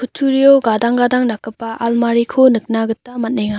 kutturio gadang gadang dakgipa almariko nika gita man·enga.